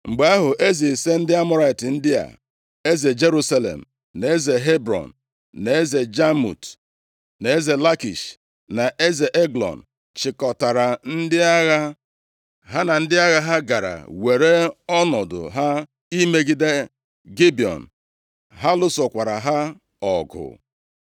Mgbe ahụ, eze ise ndị Amọrait ndị a, eze Jerusalem, na eze Hebrọn, na eze Jamut, na eze Lakish na eze Eglọn chịkọtara ndị agha. Ha na ndị agha ha gara were ọnọdụ ha imegide Gibiọn, ha lụsokwara ha ọgụ.